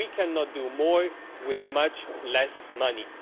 We cannot do more with much less money.